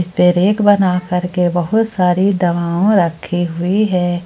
पे रैक बना करके बहुत सारी दावाओ रखी हुई है।